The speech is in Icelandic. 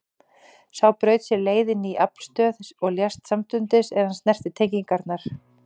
Sá braut sér leið inn í aflstöð og lést samstundis er hann snerti tengingarnar.